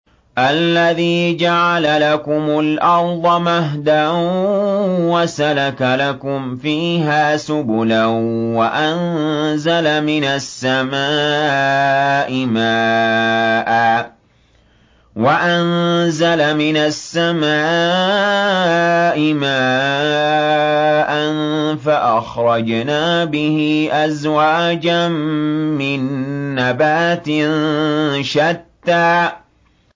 الَّذِي جَعَلَ لَكُمُ الْأَرْضَ مَهْدًا وَسَلَكَ لَكُمْ فِيهَا سُبُلًا وَأَنزَلَ مِنَ السَّمَاءِ مَاءً فَأَخْرَجْنَا بِهِ أَزْوَاجًا مِّن نَّبَاتٍ شَتَّىٰ